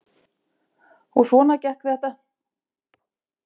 Og svona gekk þetta.